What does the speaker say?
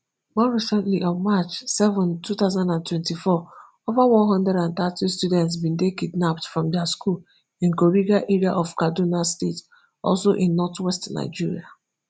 more recently on march seven two thousand and twenty-four ova one hundred and thirty students bin dey kidnapped from dia school in kuriga area of kaduna state also in northwest nigeria